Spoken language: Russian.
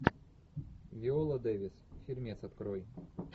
виола дэвис фильмец открой